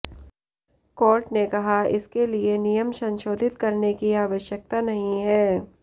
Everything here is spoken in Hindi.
कोर्ट ने कहा इसके लिए नियम संशोधित करने की आवश्यकता नहीं है